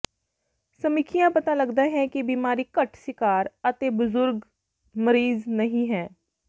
ਸਮੀਖਿਆ ਪਤਾ ਲੱਗਦਾ ਹੈ ਕਿ ਬਿਮਾਰੀ ਘੱਟ ਸੀਕਾਰ ਅਤੇ ਬਜ਼ੁਰਗ ਮਰੀਜ਼ ਨਹੀ ਹੈ